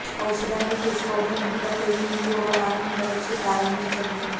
ఔషధాన్ని తీసుకోవడం ఎంపిక తేదీ ముందు ఒక వారం ఉండవచ్చు ప్రారంభించండి